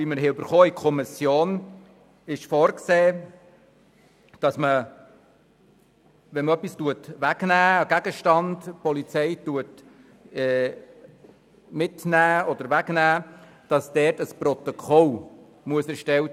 der SiK. Im Entwurf, wie ihn die Kommission bekommen hat, ist vorgesehen, dass ein Protokoll erstellt werden muss, wenn die Polizei Fahrzeuge oder andere Sachen in jemandes Abwesenheit durchsucht.